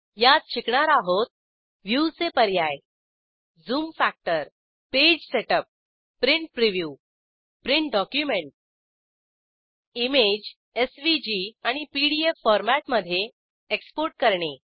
यात शिकणार आहोत व्ह्यूचे पर्याय zoom factor page setup print preview print document image SVG आणि पीडीएफ फॉरमॅट मधे एक्सपोर्ट करणे